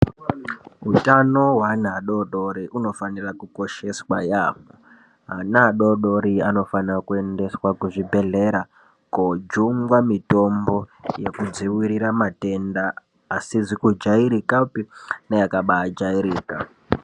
Hutano hweana adodori hunofanira kukosheswa yambho. Ana adodori anofanira kuendeswa kuzvibhedhlera kojungwa mitombo nekudzivirira matenda asizi kujairikapi neakabajairika.